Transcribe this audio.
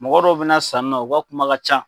Mɔgɔ dɔ bɛ na sanni na u ka kuma ka ca,